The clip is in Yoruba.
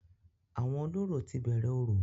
Àwọn olórò ti bẹ̀rẹ̀ orò